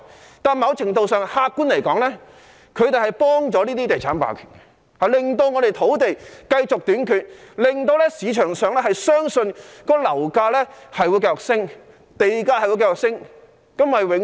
不過，某程度上，客觀而言，他們幫助了這些地產霸權，令香港土地繼續短缺，令市場相信樓價會繼續上升，地價會繼續上升。